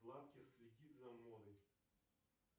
следит за мной